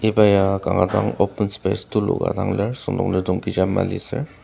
iba ya kanga open space tuluka ka dang lir süngdonglidong kecha mali sür.